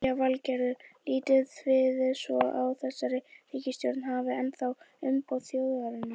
Lillý Valgerður: Lítið þið svo á að þessi ríkisstjórn hafi ennþá umboð þjóðarinnar?